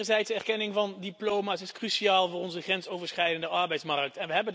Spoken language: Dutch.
Wederzijdse erkenning van diploma's is cruciaal voor onze grensoverschrijdende arbeidsmarkt.